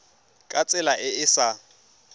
ka tsela e e sa